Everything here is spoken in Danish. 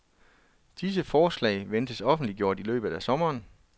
Disse forslag ventes offentliggjort i løbet af sommeren.